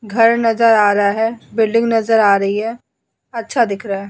घर नज़र आ रहा है। बिल्डिंग नज़र आ रही हैं। अच्छा दिख रहा हैं।